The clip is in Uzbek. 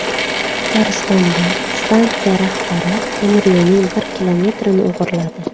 Tataristonda stansiya rahbari temiryo‘lning bir kilometrini o‘g‘irladi.